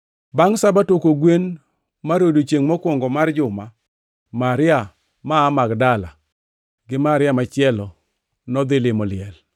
Bangʼ Sabato, kogwen mar odiechiengʼ mokwongo mar juma, Maria ma aa Magdala gi Maria machielo nodhi limo liel.